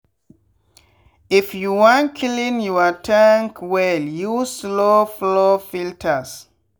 if you wan clean your tank welluse slow-flow filters.